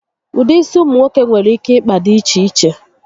Ụdị isi ụmụ nwoke nwere ike ịkpa di iche iche